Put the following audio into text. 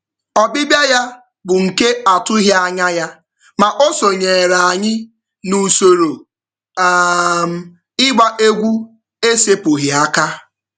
Ọbịbịa ya bụ nke atụwaghị anya ya, ma o sonyeere anyị n'usoro um ịgba egwu esepụghị aka.